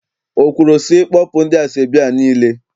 O kwuru sị, kpọpụ ndị asọebi a niile?